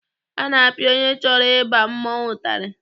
A na-apịa onye chọrọ ịba mmọnwụ ụtarị.